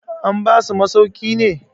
an basu masauki ne?